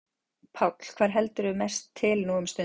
Páll: Hvar heldurðu mest til nú um stundir?